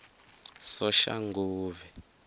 soshanguve